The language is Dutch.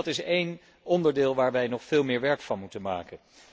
Dus dat is één onderdeel waar wij nog veel meer werk van moeten maken.